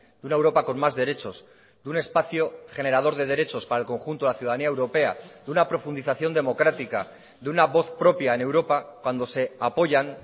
de una europa con más derechos de un espacio generador de derechos para el conjunto de la ciudadanía europea de una profundización democrática de una voz propia en europa cuando se apoyan